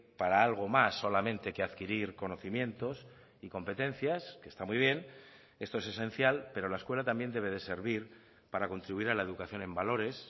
para algo más solamente que adquirir conocimientos y competencias que está muy bien esto es esencial pero la escuela también debe de servir para contribuir a la educación en valores